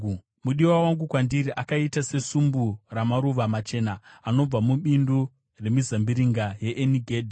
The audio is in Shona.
Mudiwa wangu, kwandiri akaita sesumbu ramaruva machena anobva mubindu remizambiringa yeEni Gedhi.